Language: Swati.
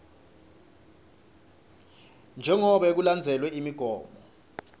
jengobe kulandzelwe imigomo